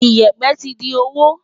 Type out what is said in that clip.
Ìyẹ̀pẹ̀ ti di òwò.